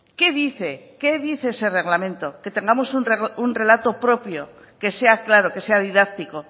qué dice qué dice ese reglamento que tengamos un relato propio que sea claro que sea didáctico